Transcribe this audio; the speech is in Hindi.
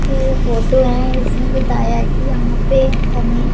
ये फोटो है इसमें बताया है कि यहां पे हमें--